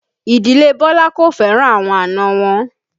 Ìdílé Bọlá kò fẹ́ràn àwọn àna wọn